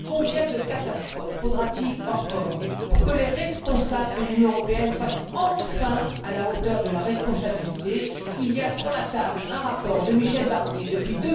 Combien de catastrophes faudra t il encore pour que les responsables de l'Union européenne soient enfin à la hauteur de leurs responsabilités? Il y a, sur la table, un rapport de Michel Barnier depuis